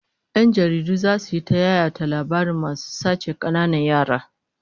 Yan jaridu zasu yi ta yayata labarin masu sace kananan yara